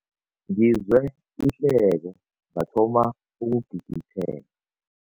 Ngizwe ihleko ngathoma ukugigitheka.